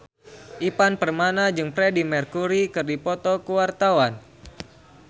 Ivan Permana jeung Freedie Mercury keur dipoto ku wartawan